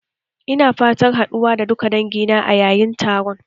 Ina fatan haɗuwa da duka dangina a yayın taro